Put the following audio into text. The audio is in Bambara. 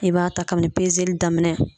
I b'a ta kabini pezeli daminɛ.